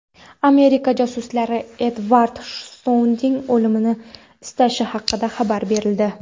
Amerika josuslari Edvard Snoudenning o‘limini istashi haqida xabar berildi.